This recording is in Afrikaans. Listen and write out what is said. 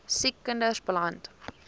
siek kinders beland